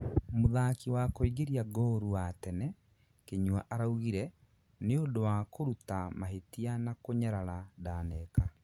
mũthaki wa kũingĩria ngoorũ wa tene, Kinyua araugire: " Nĩ ũndũ wa kũruta mahĩtia na kunyarara ndaneka.